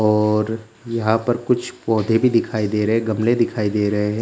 और यहाँ पर कुछ पौधे भी दिखाई दे रहे हैं गमले दिखाई दे रहे हैं।